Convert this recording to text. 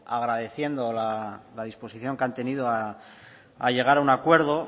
agradeciendo la disposición que han tenido a llegar a un acuerdo